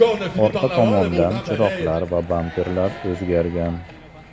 Orqa tomondan chiroqlar va bamperlar o‘zgargan.